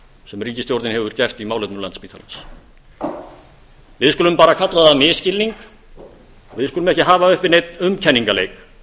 sem ríkisstjórnin hefur gert í málefnum landspítalans við skulum bara kalla það misskilning við skulum ekki hafa uppi neinn umkenningaleik